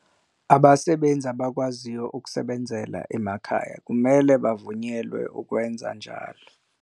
Abasebenzi abakwaziyo ukusebenzela emakhaya kumele bavunyelwe ukwenza kanjalo.